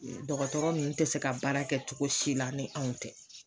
Dɔgɔtɔrɔ nunnu tɛ se ka baara kɛ cogo si la ni anw tɛ.